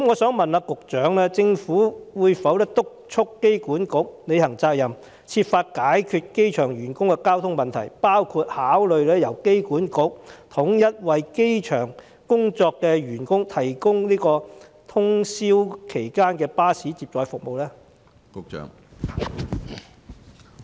請問局長政府會否督促機管局履行責任，設法解決機場員工的交通問題，包括考慮由機管局統一為機場工作的員工提供通宵巴士接載服務呢？